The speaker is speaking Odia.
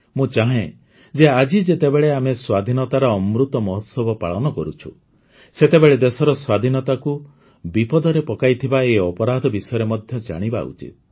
ମୁଁ ଚାହେଁ ଯେ ଆଜି ଯେତେବେଳେ ଆମେ ସ୍ୱାଧୀନତାର ଅମୃତ ମହୋତ୍ସବ ପାଳନ କରୁଛୁ ସେତେବେଳେ ଦେଶର ସ୍ୱାଧୀନତାକୁ ବିପଦରେ ପକାଇଥିବା ଏହି ଅପରାଧ ବିଷୟରେ ମଧ୍ୟ ଜାଣିବା ଉଚିତ